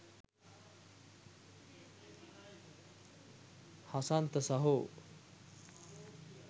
හසන්ත සහෝ